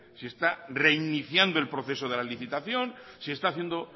si está reiniciando el proceso de la licitación si está haciendo